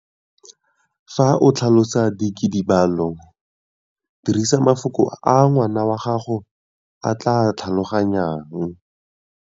Fa o tlhalosa dikidibalo, dirisa mafoko a ngwana wa gago a tla a tlhaloganyang.